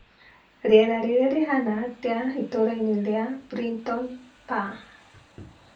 Rĩera rĩrĩ rĩhana atia itũũrainĩ rĩa Brighton PA